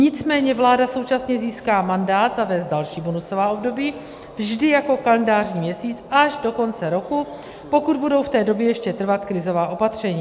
Nicméně vláda současně získá mandát zavést další bonusová období vždy jako kalendářní měsíc až do konce roku, pokud budou v té době ještě trvat krizová opatření.